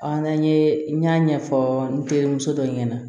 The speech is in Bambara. An n'an ye n y'a ɲɛfɔ n terimuso dɔ ɲɛna